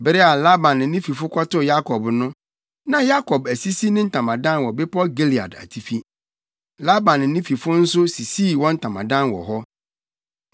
Bere a Laban ne ne fifo kɔtoo Yakob no, na Yakob asisi ne ntamadan wɔ bepɔw Gilead atifi. Laban ne ne fifo no nso sisii wɔn ntamadan wɔ hɔ.